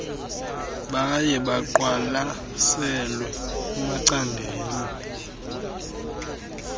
baye baqwalaselwe kumacandelo